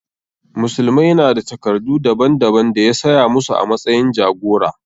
Musulmai na da takardu daban daban da ya saya musu a matsayin jagora.